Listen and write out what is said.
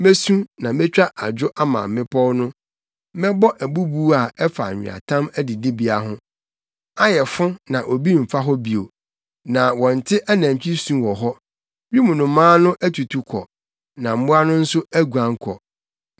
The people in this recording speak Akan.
Mesu na metwa adwo ama mmepɔw no, mɛbɔ abubuw a ɛfa nweatam adidibea ho. Ayɛ fo na obi mfa hɔ bio, na wɔnte anantwi su wɔ hɔ. Wim nnomaa no atutu kɔ na mmoa no nso aguan kɔ.